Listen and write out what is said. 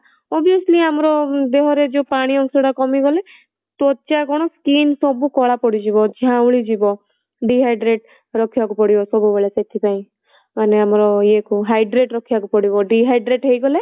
Obviously ଆମର ଦେହରେ ଯୋଉ ପାଣି ଅଂଶ ଟା କମିଗଲେ ତ୍ୱଚା କଣ skin ସବୁ କଳା ପଡ଼ିଯିବ ଝାଉଁଳି ଯିବ dehydrate ରଖିବାକୁ ପଡିବ ସବୁବେଳେ ସେଥିପାଇଁ ମାନେ ଆମର ଇଏ କୁ hydrate ରଖିବାକୁ ପଡିବ dehydrate ହେଇଗଲେ